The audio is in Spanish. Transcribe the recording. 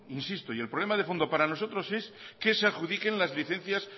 insisto el problema de fondo para nosotros es que se adjudiquen las licencias